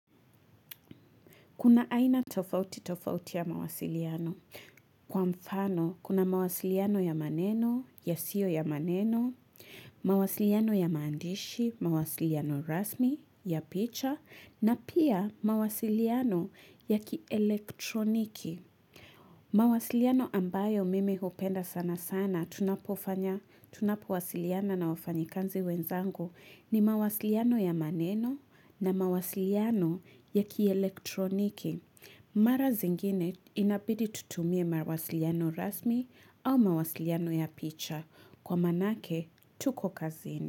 Kuna aina tofauti tofauti ya mawasiliano. Kwa mfano, kuna mawasiliano ya maneno, yasiyo ya maneno, mawasiliano ya maandishi, mawasiliano rasmi, ya picha, na pia mawasiliano ya kielektroniki. Mawasiliano ambayo mimi hupenda sana sana tunapofanya, tunapowasiliana na wafanyikanzi wenzangu ni mawasiliano ya maneno na mawasiliano ya kielektroniki. Mara zingine inabidi tutumie mawasiliano rasmi au mawasiliano ya picha. Kwa manake, tuko kazini.